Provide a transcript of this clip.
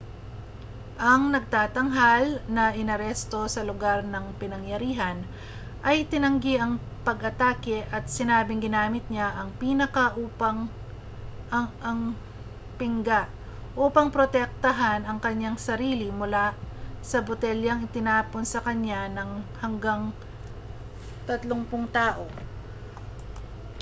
ang nagtatanghal na inaresto sa lugar ng pinangyarihan ay itinanggi ang pag-atake at sinabing ginamit niya ang pingga upang protektahan ang kaniyang sarili mula sa mga botelyang itinatapon sa kaniya ng hanggang 30 tao